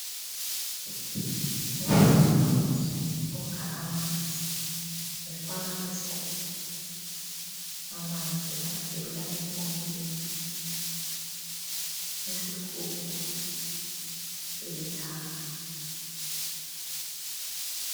Umama ukha amanzi efaka esigubhini. Amanzi avela empompini, isigubhu silithanga.